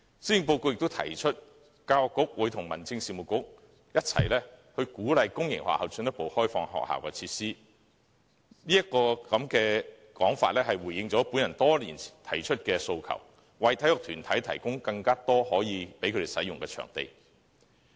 施政報告亦提出，教育局會與民政事務局一起鼓勵公營學校進一步開放學校設施，這說法回應了我提出多年的訴求，為體育團體提供更多可使用的場地。